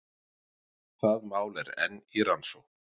Það mál er enn í rannsókn